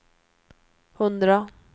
hundra